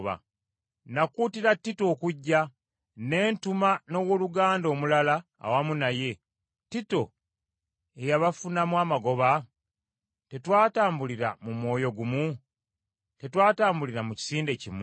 Nakuutira Tito okujja, ne ntuma n’owooluganda omulala awamu naye; Tito yeeyabafunako amagoba? Tetwatambulira mu mwoyo gumu? Tetwatambulira mu kisinde kimu?